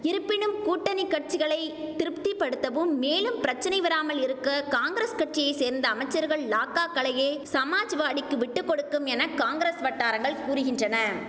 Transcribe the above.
இருப்பினும் கூட்டணி கட்சிகளை திருப்திபடுத்தவும் மேலும் பிரச்சனை வராமல் இருக்க காங்கிரஸ் கட்சியை சேர்ந்த அமைச்சர்கள் லாக்காக்களையே சமாஜ்வாடிக்கு விட்டு கொடுக்கும் என காங்கிரஸ் வட்டாரங்கள் கூறுகின்றன